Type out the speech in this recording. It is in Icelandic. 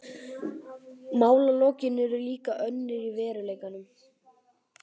Málalokin urðu líka önnur í veruleikanum.